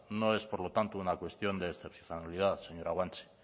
no es por lo tanto una cuestión de excepcionalidad señora guanche